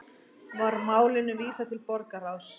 Var málinu vísað til borgarráðs